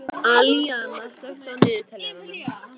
Alíana, slökktu á niðurteljaranum.